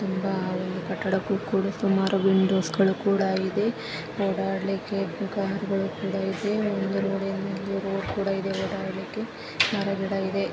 ತುಂಬಾ ಆ ಒಂದು ಕಟಡಕ್ಕೂ ಕೂಡ ಸುಮಾರು ವಿಂಡೋಸ ಗಳು ಕೂಡ ಇದೆ ಒಡಾಡ್ಲಿಕೆ ಕಾರ ಗಳು ಕುಡ ಇದೆ ಒಂದು ಇದೆ ರೋಡ್ ಇದೆ ಓಡಾಡ್ಲಿಕೆ ಮರಗಿಡ ಇದೆ .